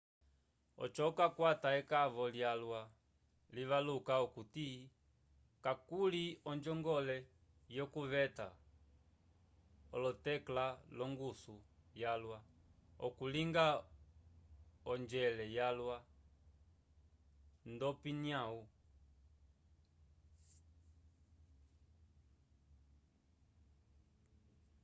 oco okakwata ekavo lyalwa livaluka okuti kakuli onjongole yokuveta olotekla l'ongusu yalwa okulinga onjwela yalwa nd'opiyanu